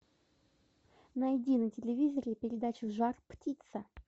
найди на телевизоре передачу жар птица